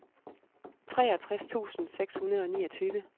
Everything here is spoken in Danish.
treogtres tusind seks hundrede og niogtyve